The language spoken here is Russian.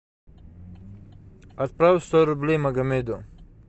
отправь сто рублей магомеду